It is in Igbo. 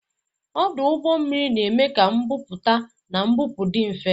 Ọdụ ụgbọ mmiri na-eme ka mbubata na mbupụ dị mfe